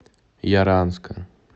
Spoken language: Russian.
яранска